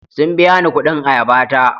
Sun biya ni kuɗin ayaba ta.